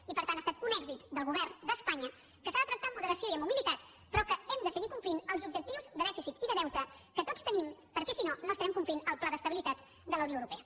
i per tant ha estat un èxit del govern d’espanya que s’ha de tractar amb moderació i amb humilitat però que hem de seguir complint els objectius de dèficit i de deute que tots tenim perquè si no no estarem complint el pla d’estabilitat de la unió europea